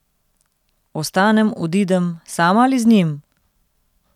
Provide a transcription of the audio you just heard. Ostanem, odidem, sama ali z njim?